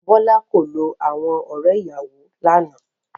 Bọ́lá kò lo àwọn ọ̀rẹ́-ìyàwọ lánàá.